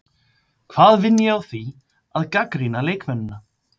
Hvað vinn ég á því að gagnrýna leikmennina?